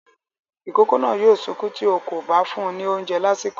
Ìkókó náà yóò sunkún tí ó kò bá fún ní oúnjẹ lásìkò.